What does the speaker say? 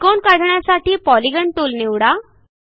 त्रिकोण काढण्यासाठी polygon tool निवडा